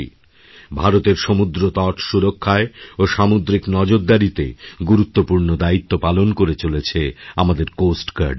ভারতের সমুদ্রতট সুরক্ষায় ও সামুদ্রিক নজরদারিতেগুরুত্বপূর্ণ দায়িত্ব পালন করে চলেছে আমাদের কোস্ট গার্ড বাহিনী